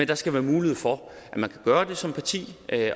der skal være mulighed for at man kan gøre det som parti